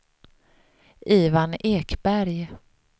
Ivan Ekberg